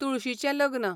तुळशीचें लग्न